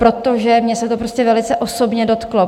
Protože mě se to prostě velice osobně dotklo.